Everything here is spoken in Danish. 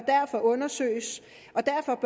undersøgelse